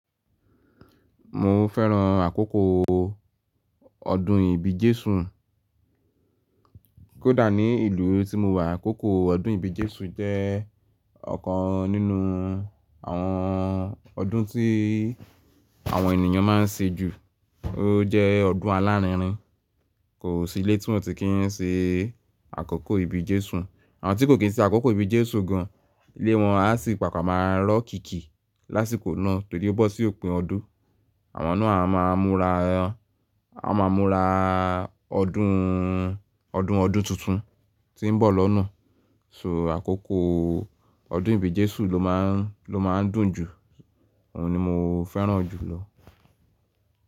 Mo fẹ́ràn àkókò ọdún ìbi jésùn. Kódà ní ìlú tí mo wà, àkókò ọdún ìbi jésù jẹ́ ọ̀kan nínú àwọn ọdún tí àwọn ènìyàn máa ń ṣe jù. Ó jẹ́ ọdún alárinrin, kò sí ilé tí wọ́n ti kì í ṣe àkókò ìbi jésùn. Àwọn tí kò kín ṣe àkókò ìbi jesù gan, ilé wọn a sì pàpà máa rọ́ kìkì lásìkò náà torí ó bọ́ sí òpin ọdún. Àwọn náà a máa múra, a máa múra ọdún, ọdún ọdún tuntun tí ń bọ̀ lọ́nà. So àkókò ọdún ìbi jesù ló máa ń, ló máa ń dùn jù, òun ni mo fẹ́ràn jù lọ.